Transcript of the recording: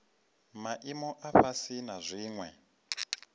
maimo a fhasi na dziwe